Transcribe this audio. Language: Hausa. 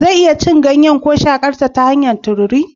Zan iya cin ganyen ko shakar ta hanyar tururi?